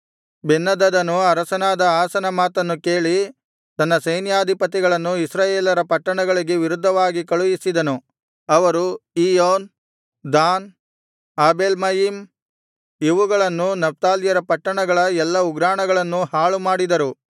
ಬೆನ್ಹದದನು ಅರಸನಾದ ಆಸನ ಮಾತನ್ನು ಕೇಳಿ ತನ್ನ ಸೈನ್ಯಾಧಿಪತಿಗಳನ್ನು ಇಸ್ರಾಯೇಲ್ಯರ ಪಟ್ಟಣಗಳಿಗೆ ವಿರುದ್ಧವಾಗಿ ಕಳುಹಿಸಿದನು ಅವರು ಇಯ್ಯೋನ್ ದಾನ್ ಆಬೇಲ್ಮಯಿಮ್ ಇವುಗಳನ್ನೂ ನಫ್ತಾಲ್ಯರ ಪಟ್ಟಣಗಳ ಎಲ್ಲಾ ಉಗ್ರಾಣಗಳನ್ನೂ ಹಾಳು ಮಾಡಿದರು